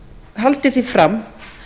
haldi því fram